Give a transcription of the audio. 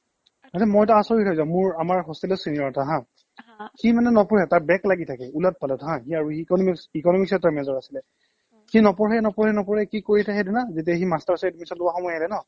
মানে মইটো আচৰিত হৈ যাও মোৰ আমাৰ hostel ৰ senior এটা হা সি মানে নপঢ়ে তাৰ back লাগি থাকে ওলট পালট হা সিয়াৰ economics economics ত তাৰ major আছিলে সি নপঢ়ে নপঢ়ে নপঢ়ে কি কৰি থাকে সেইটো না যেতিয়া সি masters ত admission লোৱাৰ সময় আহিলে ন